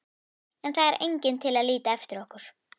En það er enginn til að líta eftir okkur.